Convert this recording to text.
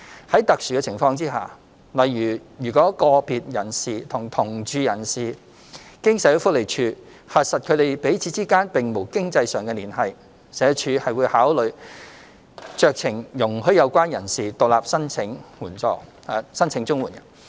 在特殊情況下，例如若個別人士與同住人士經社會福利署核實他們彼此之間並無經濟上的連繫，社署會考慮酌情容許有關人士獨立申請綜援。